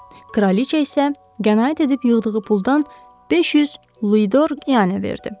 Kraliça isə qənaət edib yığdığı puldan 500 Luador qiyanə verdi.